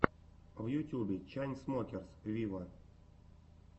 в ютюбе чайнсмокерс виво